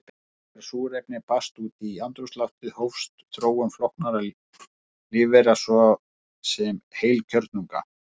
Þegar súrefni barst út í andrúmsloftið hófst þróun flóknara lífvera, svo sem heilkjörnunga.